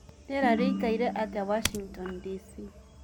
rĩera rĩĩkaĩre atĩa washington D.C